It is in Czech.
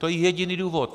To je jediný důvod.